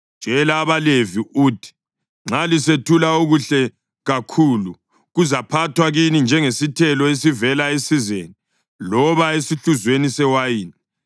Tshela abaLevi uthi: ‘Nxa lisethula okuhle kakhulu, kuzaphathwa kini njengesithelo esivela esizeni loba esihluzweni sewayini.